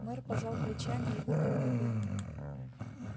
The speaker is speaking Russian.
мэр пожал плечами и выпил воды